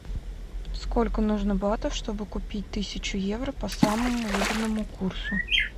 сколько нужно батов чтобы купить тысячу евро по самому выгодному курсу